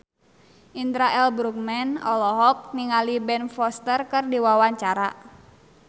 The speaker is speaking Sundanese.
Indra L. Bruggman olohok ningali Ben Foster keur diwawancara